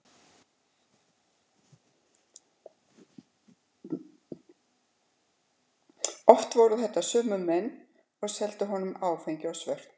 Oft voru þetta sömu menn og seldu honum áfengi á svörtu.